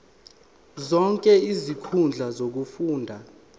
zonke izinkundla zokufunda